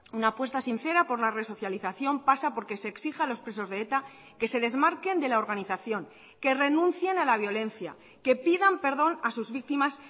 una apuesta sincera por la resocialización pasa porque se exija a los presos de eta que se desmarquen de la organización que renuncien a la violencia que pidan perdón a sus víctimas